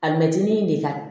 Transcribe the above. Alimɛtinin de ka